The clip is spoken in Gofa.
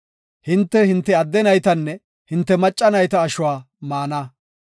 Hinte, hinte adde naytanne hinte macca nayta ashuwa maana.